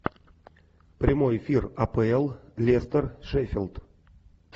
прямой эфир апл лестер шеффилд